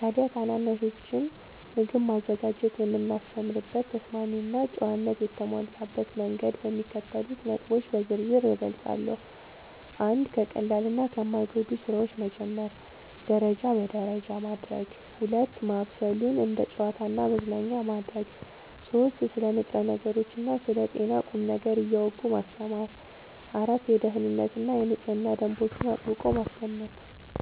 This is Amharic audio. ታዲያ ታናናሾችን ምግብ ማዘጋጀት የማስተምርበትን ተስማሚና ጨዋነት የተሞላበት መንገድ በሚከተሉት ነጥቦች በዝርዝር እገልጻለሁ፦ 1. ከቀላልና ከማይጎዱ ሥራዎች መጀመር (ደረጃ በደረጃ) 2. ማብሰሉን እንደ ጨዋታና መዝናኛ ማድረግ 3. ስለ ንጥረ ነገሮችና ስለ ጤና ቁም ነገር እያወጉ ማስተማር 4. የደኅንነትና የንጽህና ደንቦችን አጥብቆ ማስለመድ